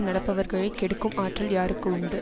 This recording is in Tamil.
நடப்பவர்களைக் கெடுக்கும் ஆற்றல் யாருக்கு உண்டு